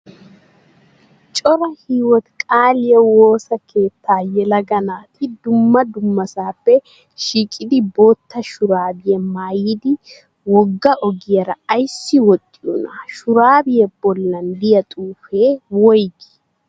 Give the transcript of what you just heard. Cora hiwooti qaaliyaa wosa keettaa yelaga naati dumma dummasappe shiiqidi bootta shuraabiyaa maayidi wogga ogiyaara ayissi woxxiyoonaa? Shuraabiyaa bollan diyaa xuupee woyiigii?